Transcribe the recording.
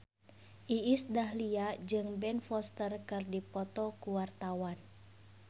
Iis Dahlia jeung Ben Foster keur dipoto ku wartawan